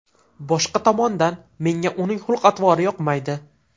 Boshqa tomondan, menga uning xulq-atvori yoqmaydi.